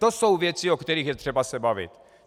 To jsou věci, o kterých je třeba se bavit.